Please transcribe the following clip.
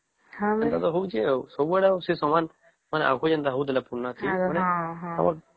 ସେଟା ତ ହଉଛେ ଆଉ ସବୁ ଆଡେ ତ ସମାନ ଆଉ ଆଗରୁ ଯେମିତି ହଉଥିଲା ପୁରୁଣା